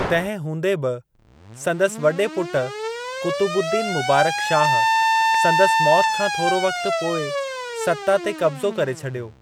तंहिं हूंदे बि, संदसि वॾे पुट कुतुबुद्दीन मुबारक शाह, संदसि मौत खां थोरो वक़्त पोइ सत्ता ते कब्ज़ो करे छॾियो।